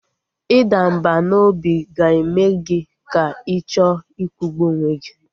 Ịda mbà n'obi ga-eme gị ka ị chọọ ikwụgbu onwe gị